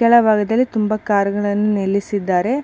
ಕೆಳಭಾಗದಲ್ಲಿ ತುಂಬಾ ಕಾರುಗಳನ್ನು ನಿಲ್ಲಿಸಿದ್ದಾರೆ